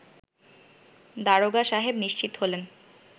দারোগা সাহেব নিশ্চিত হলেন